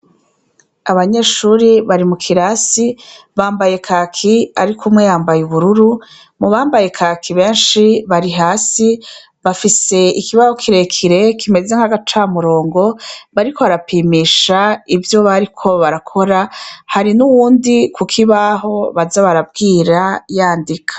Abanyeshure bari mu kirasi, bambaye kaki, ariko umwe yambaye ubururu. Mu bambaye kaki benshi bari hasi. Bafise ikibaho kirekire, kimeze nk'agacamurongo, bariko barapimisha ivyo bariko barakora. Hari n'uwundi ku kibaho baza barabwira, yandika.